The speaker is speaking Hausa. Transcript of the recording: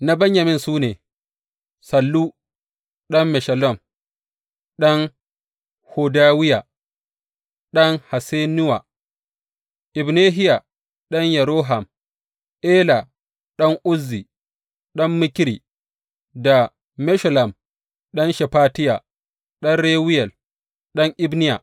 Na Benyamin su ne, Sallu ɗan Meshullam, ɗan Hodawiya, ɗan Hassenuwa; Ibnehiya ɗan Yeroham; Ela ɗan Uzzi, ɗan Mikri; da Meshullam ɗan Shefatiya, ɗan Reyuwel, ɗan Ibniya.